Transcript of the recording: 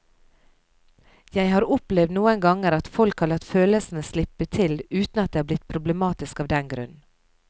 Jeg har opplevd noen ganger at folk har latt følelsene slippe til uten at det er blitt problematisk av den grunn.